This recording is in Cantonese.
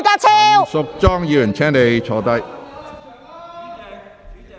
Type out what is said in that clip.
陳淑莊議員，請坐下。